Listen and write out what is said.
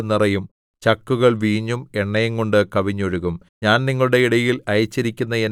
അങ്ങനെ കളപ്പുരകൾ ധാന്യംകൊണ്ടു നിറയും ചക്കുകൾ വീഞ്ഞും എണ്ണയും കൊണ്ട് കവിഞ്ഞൊഴുകും